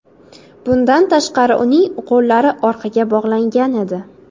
Bundan tashqari uning qo‘llari orqaga bog‘langan edi.